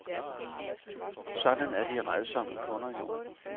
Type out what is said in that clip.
Sådan er de rædsomme kunder jo.